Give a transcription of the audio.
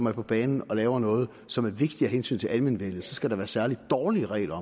er på banen og laver noget som er vigtigt af hensyn til almenvellet så skal være særlig dårlige regler